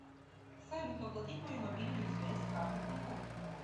салют оплатить мою мобильную связь с карты тинькофф